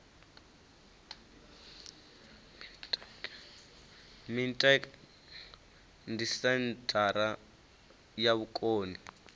mintek ndi senthara ya vhukoni